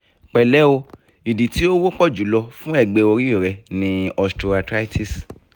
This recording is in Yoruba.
pẹlẹ o idi ti o wọpọ jù lọ fun ẹgbẹ ori rẹ ni osteoarthritis